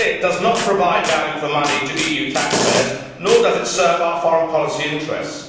This split does not provide value for money to EU taxpayers, nor does it serve our foreign policy interests.